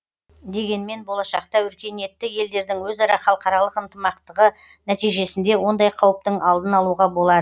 дегенмен болашақта өркениетті елдердің өзара халықаралық ынтымақтығы нәтижесінде ондай қауіптің алдын алуға болады